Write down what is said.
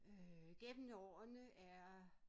Øh gennem årene er